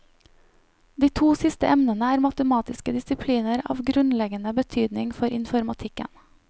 De to siste emnene er matematiske disipliner av grunnleggende betydning for informatikken.